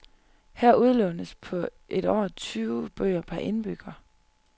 Her udlånes på et år tyve bøger per indbygger.